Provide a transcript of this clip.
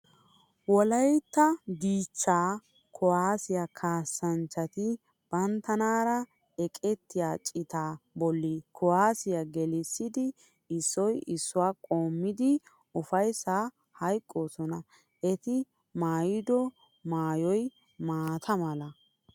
Wolaytta dichchaa kuwaasiya kaassanchchati banttanaara eqettiya citaa bolli kuwaasiya gelissidi issoy issuwa qoommidi ufayssaa hayqqoosona. Eti maayido maayoy maata mala.